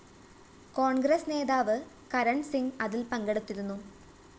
കോണ്‍ഗ്രസ് നേതാവ് കരണ്‍സിങ് അതില്‍ പങ്കെടുത്തിരുന്നു